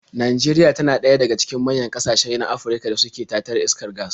Najeria tana daga cikin manyan ƙasashe na Afirka da suke tatar iskar gas.